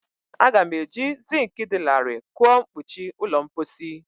Aga m eji zink dị larịị kụọ mkpuchi ụlọ mposi.